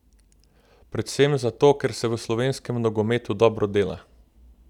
Predvsem zato, ker se v slovenskem nogometu dobro dela!